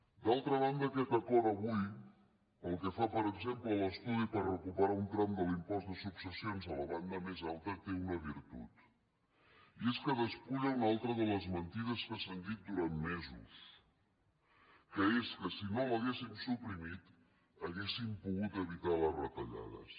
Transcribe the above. d’altra banda aquest acord avui pel que fa per exemple a l’estudi per recuperar un tram de l’impost de successions a la banda més alta té una virtut i és que despulla una altra de les mentides que s’han dit durant mesos que és que si no l’haguéssim suprimit hauríem pogut evitar les retallades